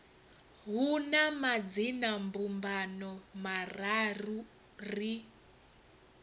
hu na madzinambumbano mararu ri